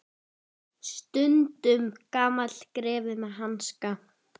Stundum gamall greifi með hanska.